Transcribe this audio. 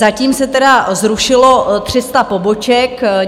Zatím se tedy zrušilo 300 poboček.